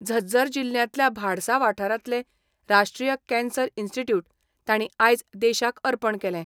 झज्जर जिल्ल्यांतल्या भाडसा वाठारांतले राष्ट्रीय कॅन्सर इन्स्टिट्यूट तांणी आयज देशाक अर्पण केलें.